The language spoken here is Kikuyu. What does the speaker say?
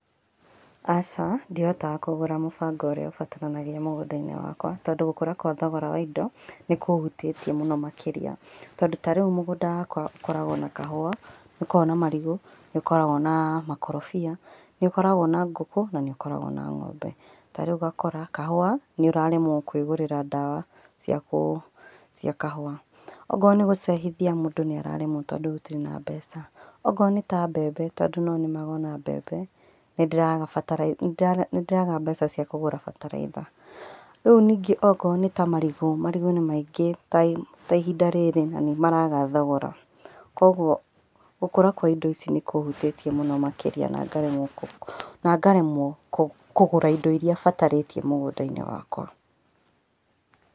Aca, ndihotaga kũgũra mũbango ũrĩa ũbataranagia mũgũnda-inĩ wakwa, tondũ gũkũra kwa thogora wa indo, nĩkũhutítie mũno makĩria, tondũ ta rĩu mũgũnda wakwa ũkoragwo na kahũa, nĩũkoragwo na marigũ, nĩũkoragwo na makorobia, nĩũkoragwo na ngũkũ, na nĩũkoragwo na ng'ombe, tarĩu ũgakora kahũa, nĩũraremwo kwĩgũrĩra ndawa, cia kũ cia kahũa, okorwo nĩgũcehithia mũndũ nĩararemwo tondũ gũtirĩ na mbeca, okorwo nĩta mbembe tondũ nonĩmaga ona mbembe, nĩndĩragabatara, nĩndĩraga mbeca cia kũgũra bataraitha, rĩu ningĩ okorwo nĩta marigũ, marigũ nĩ maingĩ tai, ta ihinda rĩrĩ na nĩmaraga thogora, koguo, gũkũra kwa indo ici nĩkũhutĩrie mũno makĩria, ngaremwo kũ, na ngaremwo kũgũra indo iria ibatarĩtie mũgũnda-inĩ wakwa.